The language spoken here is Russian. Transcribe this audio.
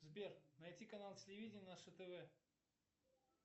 сбер найти канал телевидения наше тв